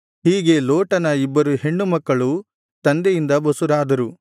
ಹೀಗೆ ಲೋಟನ ಇಬ್ಬರು ಹೆಣ್ಣುಮಕ್ಕಳು ತಂದೆಯಿಂದ ಬಸುರಾದರು